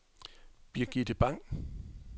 Birgitte Bang